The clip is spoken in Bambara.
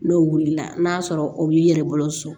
N'o wulila n'a sɔrɔ o b'i yɛrɛ bolo so